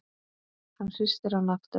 Hann hristir hana aftur.